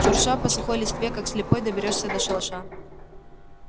шурша по сухой листве как слепой доберёшься до шалаша